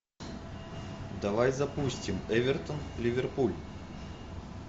давай запустим эвертон ливерпуль